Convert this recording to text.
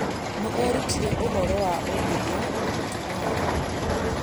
Nĩ eerutire ũhoro wa ũndũire na mĩtugo yao.